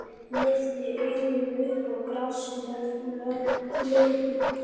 Lyfti augunum upp á grasflötina.